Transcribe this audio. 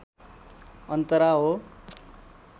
अन्तरा हो